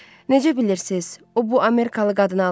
Necə bilirsiz, o bu Amerikalı qadını alacaq?